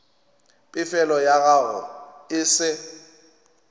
pefelo ya gago e se